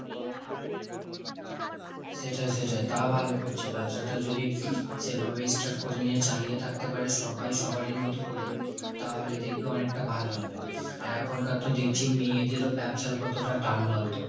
সেটাই সেটাই। তা ভালো করছে। ব্যবসাটা যদি সেভাবে ইস্টার্ট করে নিয়ে চালিয়ে থাকতে পারে সব্বাই সবারই মতো করে তাহলে দেখবি অনেকটা ভালো হবে। আর এখনকার তো দেখছি মেয়েদের ও ব্যবসার কতটা টান বলতো?